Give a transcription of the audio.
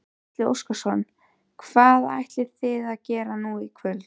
Gísli Óskarsson: Hvað ætlið þið að gera nú í kvöld?